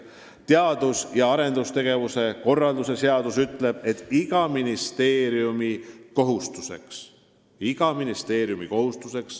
Teadus- ja arendustegevuse korralduse seadus ütleb, et iga ministeeriumi kohustus – iga ministeeriumi kohustus!